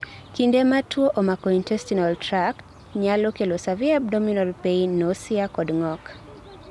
kinde ma tuwo omako intestinal tract nyalo kelo severe abdominal pain ,nausea kod ng'ok